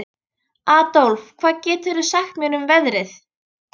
Adólf, hvað geturðu sagt mér um veðrið?